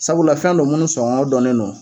Sabula fɛn don minnu sɔŋɔ dɔnnen don